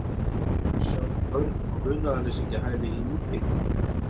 Hér sjást börn á munaðarleysingjahæli í Nígeríu.